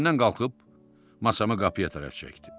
Yerimdən qalxıb masamı qapıya tərəf çəkdim.